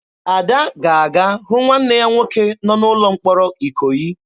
Ada ga-aga hụ nwanne ya nwoke nọ n'ụlọ mkpọrọ Ikoyi.